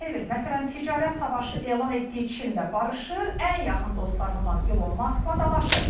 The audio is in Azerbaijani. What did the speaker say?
Məsələn, ticarət savaşı elan etdiyi Çinlə barışır, ən yaxın dostlarından İlon Maskla dalaşır.